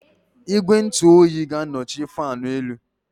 Igwe ntụ oyi ga-anọchi fáan élú